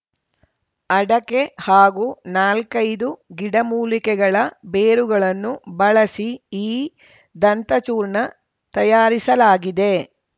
ಅಡಕೆ ಹಾಗೂ ನಾಲ್ಕೈದು ಗಿಡಮೂಲಿಕೆಗಳ ಬೇರುಗಳನ್ನು ಬಳಸಿ ಈ ದಂತಚೂರ್ಣ ತಯಾರಿಸಲಾಗಿದೆ